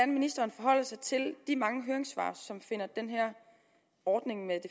ministeren forholder sig til de mange høringssvar som finder den her ordning med